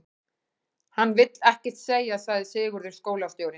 Hann vill ekkert segja, sagði Sigurður skólastjóri.